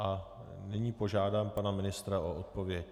A nyní požádám pana ministra o odpověď.